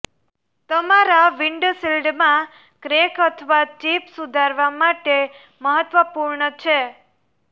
તમારા વિન્ડશિલ્ડમાં ક્રેક અથવા ચિપ સુધારવા માટે મહત્વપૂર્ણ છે